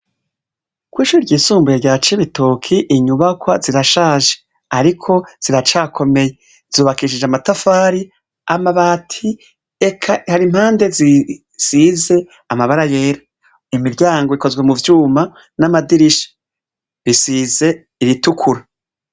Kw'ishure ryisumbuye rya Cibitoke inyubakwa zirashaje. Ariko ziracakomeye. Zubakishije amatafari, amabati, eka hari impande zisize amabara yera. Imiryango ikozwe mu vyuma, n'amadirisha; bisize iritukura.